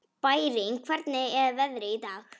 Bæring, hvernig er veðrið í dag?